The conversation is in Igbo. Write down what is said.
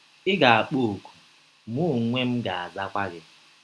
“ Ị ga - akpọ ọ̀kụ, mụ ọnwe m ga - azakwa gị.